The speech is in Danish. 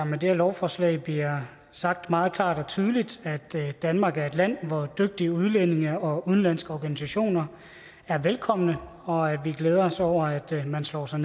med det her lovforslag bliver sagt meget klart og tydeligt at danmark er et land hvor dygtige udlændinge og udenlandske organisationer er velkomne og at vi glæder os over at man slår sig